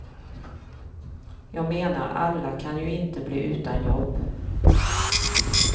Jag menar, alla kan ju inte bli utan jobb.